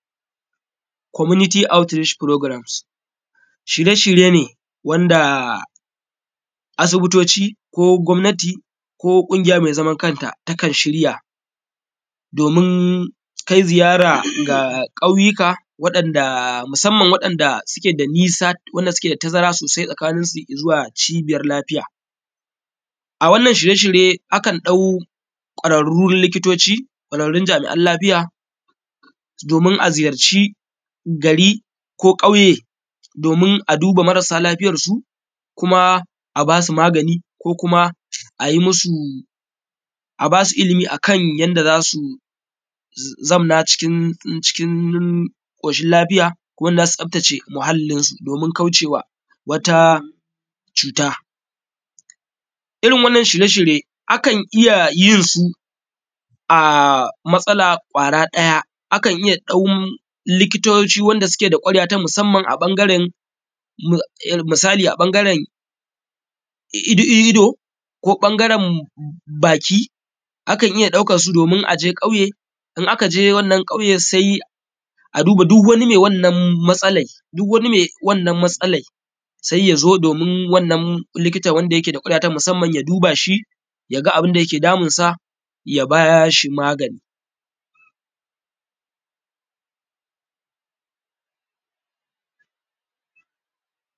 Komuniti aut furogram. Shirye shirye ne wanda asibitoci ko gomnati ko ƙungiya mai zaman kanta ta kan shirya domin kai ziyara ga ƙauyika waɗanda musamman waɗanda suke da nisa, suke da tazara sosai tsakaninsu da izuwa cibiyar lafiya. A wannan shirye shirye akan ɗau kwararun likitoci kwararun jami’an lafiya domin a ziyarci gari ko kauye domin a duba marasa lafiyarsu kuma a basu magani ko kuma ayi musu, a basu ilimi akan yanda zasu zamna cıkın ƙoshin lafiya wanda za su tsaftace muhallinsu domin kaucewa wata cuta. Irin wannan shirye shirye akan iya yin su a matsala kwara ɗaya, akan iya ɗaukam likitoci wanda suke da kwarewa ta musamman a ɓangaren, misali a ɓangaren ido ko ɓangaren baƙi akan iya ɗaukansu domin aje ƙauye, in aka je wannan sai a duba duk wani mai wannan matsalan, duk wani mai wannan matsalai sai ya zo domin wannan likitan wanda yake ta kwarewa ta musamman ya duba shi ya ga abinda yake damunsa ya bashi magani.